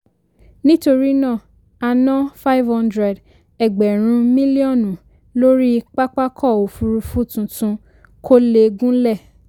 nítorí náà a ná five hundred ẹgbẹ̀rún mílíọ̀nù lórí pápákọ̀ òfuurufú tuntun kò lè gúnlẹ̀.